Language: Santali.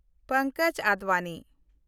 ᱯᱚᱝᱠᱚᱡᱽ ᱟᱰᱵᱟᱱᱤ